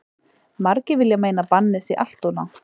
Margir vilja meina að bannið sé alltof langt.